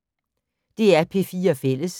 DR P4 Fælles